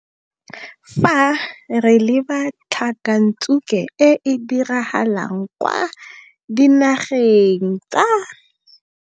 Fa re leba tlhakantsuke e e diragalang kwa Dinageng tsa.